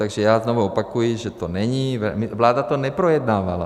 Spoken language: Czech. Takže já znovu opakuji, že to není, vláda to neprojednávala.